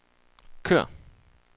kør